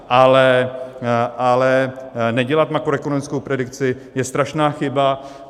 Ale nedělat makroekonomickou predikci je strašná chyba.